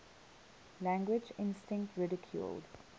language instinct ridiculed